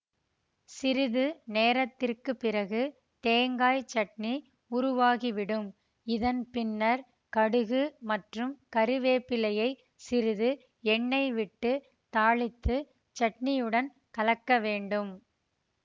சிறிது நேரத்திற்கு பிறகு தேங்காய் சட்னி உருவாகிவிடும் இதன் பின்னர் கடுகு மற்றும் கறிவேப்பிலையைச் சிறிது எண்ணெய் விட்டு தாளித்து சட்னியுடன் கலக்க வேண்டும்